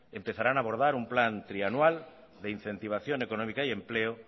empezarán a abordar un plan trianual de incentivación económica y empleo